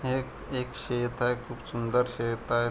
हे एक शेत आहे खूप सुंदर शेत आहे.